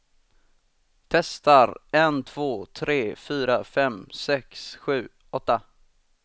Testar en två tre fyra fem sex sju åtta.